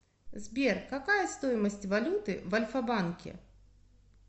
сбер какая стоимость валюты в альфа банке